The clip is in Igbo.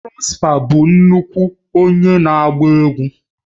Prosper bụ nnukwu onye na agba egwu